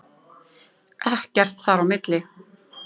Ekkert þar á milli!